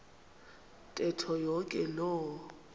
ntetho yonke loo